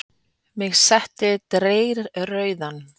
Mig setti dreyrrauðan.